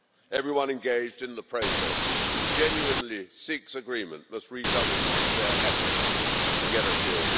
Everyone engaged in the process who genuinely seeks agreement must redouble their efforts to get a deal.